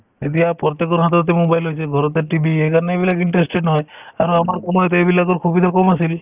এতিয়া প্ৰত্যেকৰ হাততে mobile হৈছে ঘৰতে TV সেইকাৰণে এইবিলাক interested নহয় আৰু আমাৰ সময়ত এইবিলাকৰ সুবিধা কম আছিল